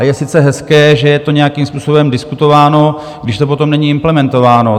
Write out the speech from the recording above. A je sice hezké, že je to nějakým způsobem diskutováno, když to potom není implementováno.